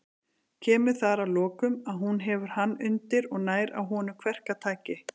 Kemur þar að lokum, að hún hefur hann undir og nær á honum kverkataki.